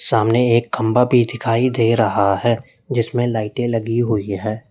सामने एक खंभा भी दिखाई दे रहा है जिसमें लाइटें लगी हुई हैं।